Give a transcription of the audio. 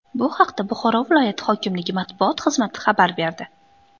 Bu haqda Buxoro viloyat hokimligi matbuot xizmati xabar berdi .